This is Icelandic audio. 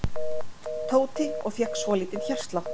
Tóti og fékk svolítinn hjartslátt.